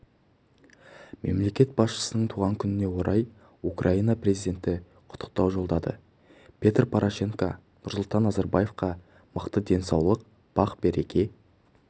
мемлекет басшысының туған күніне орай украина президенті құттықтау жолдады петр порошенко нұрсұлтан назарбаевқа мықты денсаулық бақ-береке